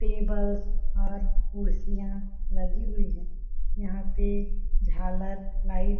tables और कुर्सियां लगी हुई है यहाँ पे झालर लाइट --